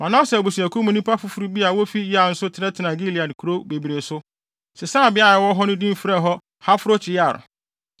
Manase abusuakuw mu nnipa foforo bi a wofi Yair nso tenatenaa Gilead nkurow bebree so, sesaa beae a wɔwɔ hɔ no din frɛɛ hɔ Hafrotyair.